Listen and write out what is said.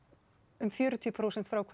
um fjörutíu prósent frá